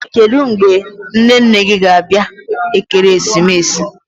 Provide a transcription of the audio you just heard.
Kedụ mgbe nne nne gị ga-abịa Ekeresimesi?